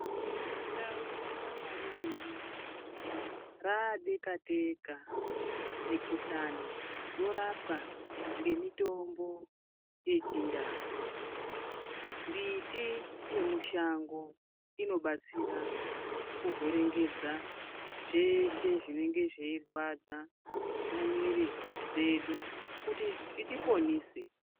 Mundau yaMarure ino radekateka mikuhlani yorapwa ngemitombo yechindau, mbiti yemushango inobatsira kuhwerengedza zveshe zvinenge zveirwadza mumiiri dzedu kuti zvitiponise.